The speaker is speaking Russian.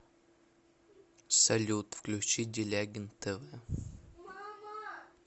салют включи делягин тэ вэ